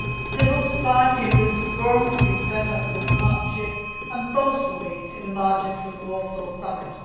Civil society and business forums have been set up within the partnership and both will meet in the margins of the Warsaw Summit.